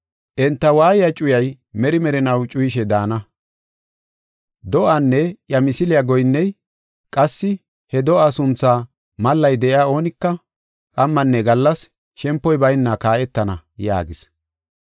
Enta waayiya cuyay meri merinaw cuyishe daana. Do7aanne iya misiliya goyinney qassi he do7aa suntha mallay de7iya oonika qammanne gallas shempoy bayna kaa7etana” yaagis.